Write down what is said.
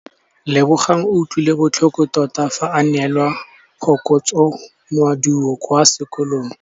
Lebogang o utlwile botlhoko tota fa a neelwa phokotsômaduô kwa sekolong.